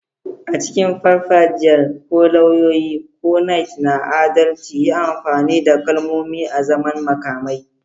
A cikin farfajiyar, ko lauyoyi, ko Knights na adalci, yi amfani da kalmomi azaman makamai.